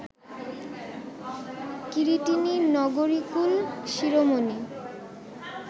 কিরীটিনী নগরীকুল শিরোমণি